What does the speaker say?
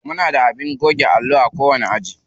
Muna da abin goge allo a kowani aji.